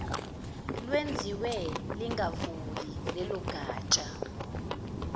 lwenziwe lingavuli lelogatsha